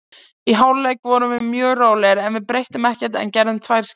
Í hálfleik vorum við mjög rólegir, við breyttum ekkert en gerðum tvær skiptingar.